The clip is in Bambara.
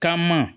Taama